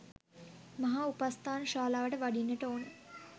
මහා උපස්ථාන ශාලාවට වඩින්නට ඕන.